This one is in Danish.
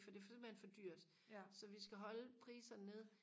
fordi det er simpelthen for dyrt så vi skal holde priserne nede